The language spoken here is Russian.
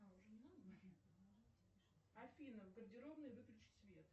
афина в гардеробной выключить свет